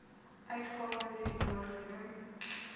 uitgawes hierbo genoem